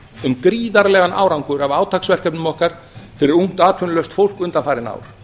um gríðarlegan árangur af átaksverkefnum okkar fyrir ungt atvinnulaust fólk undanfarin ár